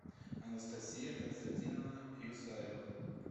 анастасия константиновна исаева